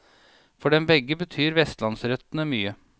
For dem begge betyr vestlandsrøttene mye.